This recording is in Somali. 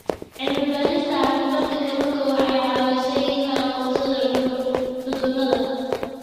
Cilmi-baarista caafimaadka kalluunka waxay caawisaa in la aqoonsado cudurrada.